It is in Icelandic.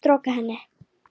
Storka henni.